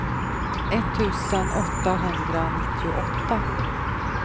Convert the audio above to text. etttusen åttahundranittioåtta